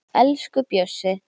Elsku Bjössi.